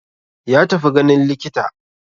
Ya tafi ganin likita.